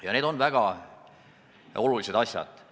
Ja need on väga olulised asjad.